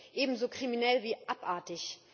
Das ist eben so kriminell wie abartig!